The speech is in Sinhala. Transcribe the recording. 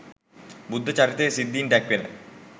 බුද්ධ චරිතයෙහි සිද්ධීන් දැක්වෙන